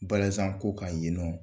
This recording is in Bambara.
Balazanko kan yen nɔ.